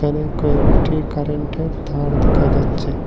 এই কয়েকটি কারেন্টের তার দেখা যাচ্ছে।